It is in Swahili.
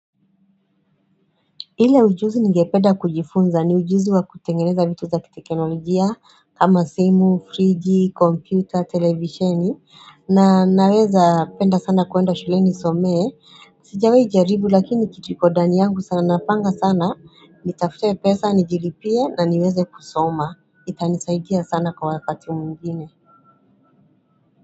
Ile ujuzi ningepeda kujifunza ni ujuzi wa kutengeneza vitu za kiteknolojia kama simu, friji, kompyuta, televisheni na naweza penda sana kuenda shule ni somee. Sijawai jaribu lakini kituikondani yangu sana napanga sana, nitafute pesa, nijilipie na niweze kusoma. Itanisaidia sana kwa wakati mwingine.